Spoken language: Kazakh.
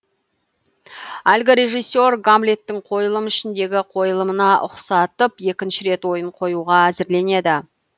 әлгі режиссер гамллеттің қойылым ішіндегі қойылымына ұқсатып екінші рет ойын қоюға әзірленеді